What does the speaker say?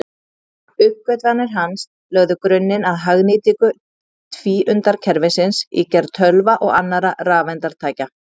Uppgötvanir hans lögðu grunninn að hagnýtingu tvíundakerfisins í gerð tölva og annarra rafeindatækja.